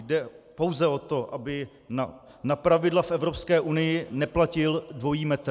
Jde pouze o to, aby na pravidla v Evropské unii neplatil dvojí metr.